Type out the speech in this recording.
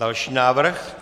Další návrh?